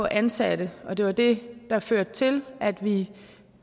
ansatte det var det der førte til at vi